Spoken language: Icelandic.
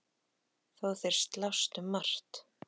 Þó þeir slást um margt.